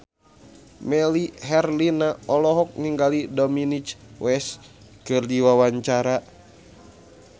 Melly Herlina olohok ningali Dominic West keur diwawancara